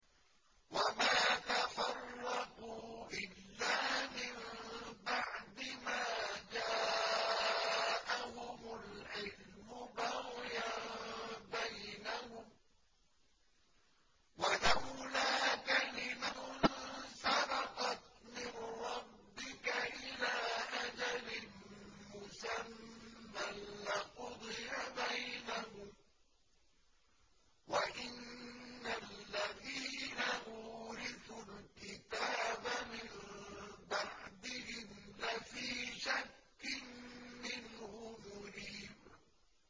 وَمَا تَفَرَّقُوا إِلَّا مِن بَعْدِ مَا جَاءَهُمُ الْعِلْمُ بَغْيًا بَيْنَهُمْ ۚ وَلَوْلَا كَلِمَةٌ سَبَقَتْ مِن رَّبِّكَ إِلَىٰ أَجَلٍ مُّسَمًّى لَّقُضِيَ بَيْنَهُمْ ۚ وَإِنَّ الَّذِينَ أُورِثُوا الْكِتَابَ مِن بَعْدِهِمْ لَفِي شَكٍّ مِّنْهُ مُرِيبٍ